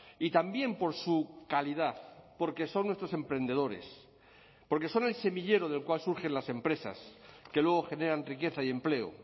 y también por su calidad porque son nuestros emprendedores porque son el semillero del cual surgen las empresas que luego generan riqueza y empleo